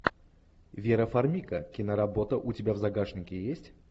вера фармига киноработа у тебя в загашнике есть